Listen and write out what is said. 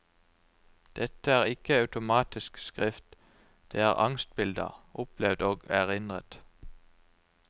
Dette er ikke automatisk skrift, det er angstbilder, opplevd og erindret.